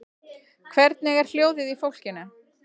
Hvernig er hljóðið í fólkinu?